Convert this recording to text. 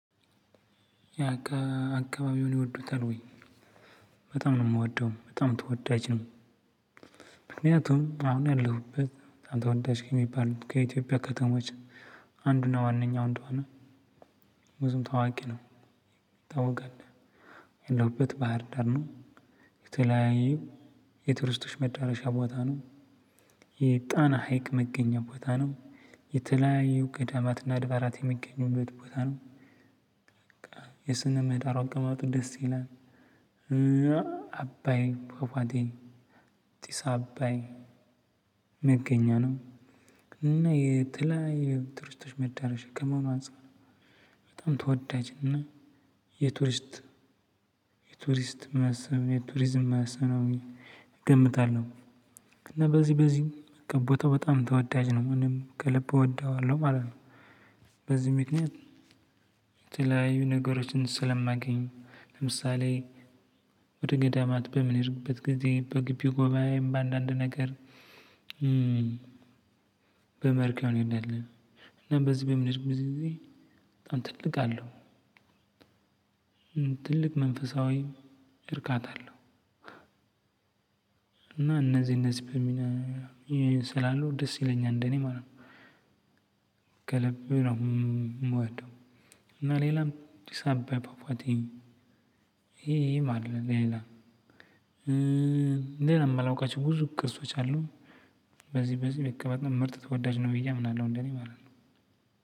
ያ ከ አከባቢዎን ይወዱታል ወይ? በጣም ነው የምወደው በጣም ተወዳጅ ነው። ምክንያቱም አሁን ያለሁበት አንድ ተወዳጅ ከሚባል ከኢትዮጵያ ከተሞች አንዱና ዋነኛው እንደውም ብዙም ታዋቂ ነው ይታወቃል ያለሁበት ባህር ዳር ነው። የተለያየ የቱርስቶች መዳረሻ ቦታ ነው። የጣና ሀይቅ መገኛ ቦታ ነው። የተለያዩ ገዳማትና አድባራት የሚገኙበት ቦታ ነው። የስነ ምህዳሩ አቀማመጥ ድስ ይላል። አባይን ፋፏቴን ጥስ አባይን መገኛ ነው። እና የተለያዩ የቱርስቶች መዳረሻ ከመሆኑ አንፃር በጣም ተወዳጅ እና የቱርስት የቱርስት መሳቢያ የቱሪዝም መሳቢያ ነው። እገምታለሁ እና በዚህ በዚህ ገቦታው በጣም ተወዳጅ ነው እኔም ከልብ እወደዋለሁ ማለት ነው። በዚህ ምክንያት የተለያዩ ነገሮችን ስለማገኝ ለምሳሌ ወደ ገዳማት በምንሄድበት ጊዜ በግቢ ጉባኤም በአንዳንድ ነገር በመርከብ እንሄዳለን። እና በዚህ በምንሄድበትም ጊዜ በጣም ትልቃለሁ ትልቅ መንፈሳዊ እርካታለሁ። እና እነዚህ እነዚህ በሚና ስላሉ ደስ ይለኛል እንደኔ ማለት ነው። ከልቤ ነው የምወደው። እና ሌላም ጥስ አባይ ፋፏቴ ይሄ ይሄም አለ ሌላ ሌላ የማላውቃቸው ብዙ ቅርሶች አሉ። በዚህ በዚህ ቤት ቅርብ ምርጥ ተወዳጅ ነው ብዬ አምናለሁ እንደኔ ማለት ነው።